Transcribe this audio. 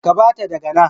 Ka bata daga na.